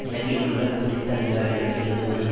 இலங்கையில் உள்ள குறித்த அதிகாரிகளுக்கு எழுதுவதன்